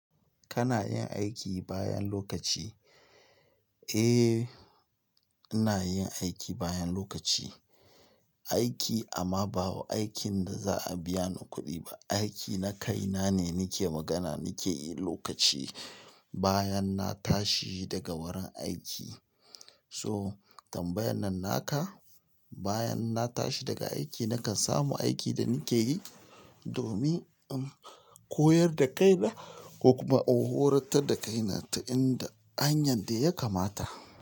Kana yin aiki bayan lokaci? Eh, ina yin aiki bayan lokaci. Aiki amma ba aikin da za a biya ni kuɗi ba. Aiki na kaina ne nake magana, nake yi lokaci bayan na tashi daga wurin aiki. So tambayan nan naka. Bayan na tashi daga aiki nakan samu aikin da nake yi. Domin in koyar da kaina kuma in horantar da kaina ta inda hanyar da ya kamata.